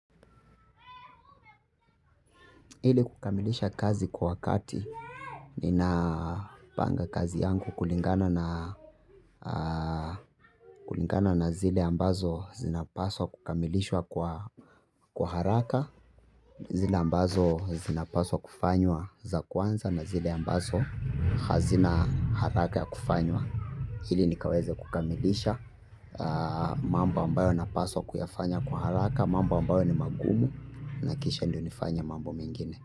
Ili kukamilisha kazi kwa wakati, nina panga kazi yangu kulingana na kulingana na zile ambazo zinapaswa kukamilishwa kwa haraka. Zile ambazo zinapaswa kufanywa za kwanza na zile ambazo hazina haraka ya kufanywa. Ili nikaweze kukamilisha mambo ambayo napaswa kuyafanya kwa haraka, mambo ambayo ni magumu na kisha ndio nifanye mambo mengine.